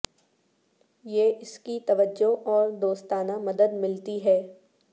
یہ اس کی توجہ اور دوستانہ مدد ملتی ہے